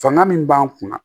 Fanga min b'an kunna